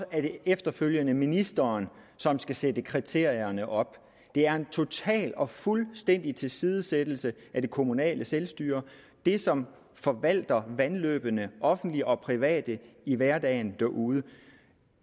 efterfølgende er ministeren som skal sætte kriterierne op det er en total og fuldstændig tilsidesættelse af det kommunale selvstyre det som forvalter vandløbene offentlige og private i hverdagen derude